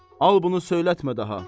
Al bunu söyletmə daha.